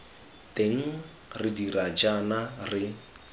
teng re dira jaana re